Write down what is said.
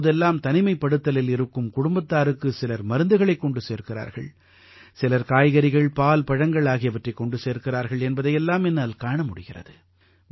இப்போதெல்லாம் தனிமைப்படுத்தலில் இருக்கும் குடும்பத்தாருக்கு சிலர் மருந்துகளைக் கொண்டு சேர்க்கிறார்கள் சிலர் காய்கறிகள் பால் பழங்கள் ஆகியவற்றைக் கொண்டு சேர்க்கிறார்கள் என்பதை எல்லாம் என்னால் காண முடிகிறது